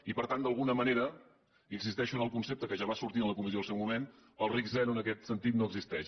i per tant d’alguna manera insisteixo en el concepte que ja va sortir a la comissió en el seu moment el risc zero en aquest sentit no existeix